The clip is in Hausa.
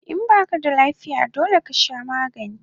In baka da lafiya dole kasha magani